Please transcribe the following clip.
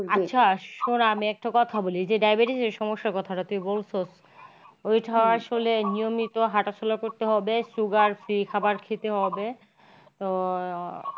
আচ্ছা শোন আমি একটা কথা বলি যে diabetes সমস্যার কথা যাতে বলতো ওইটা আসলে নিয়মিত হাটা চলা করতে হবে, sugar free খাবার খেতে হবে তো